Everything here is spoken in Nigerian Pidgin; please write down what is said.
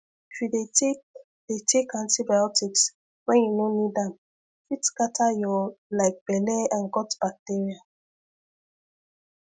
if you dey take dey take antibiotics when you no need am fit scatter your like belle and gut bacteria